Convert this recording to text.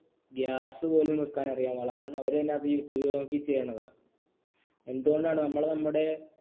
gas പോലും വെക്കാൻ അറിയാൻ പാടില്ല കാരണം അവർ തന്നെ അത് youtube നോക്കി ചെയ്യണതാ എന്തുകൊണ്ടാണ് നമ്മൾ നമ്മുടെ